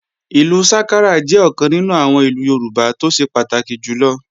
Ìlú sákárà jẹ́ ọ̀kan nínú àwọn ìlù Yorùbá tó ṣe pàtàkì jùlọ